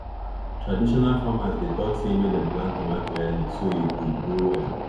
traditional farmers dey talk say make dem plant tomato early so e go grow well